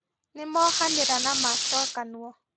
Nĩmohanĩra na macokanwo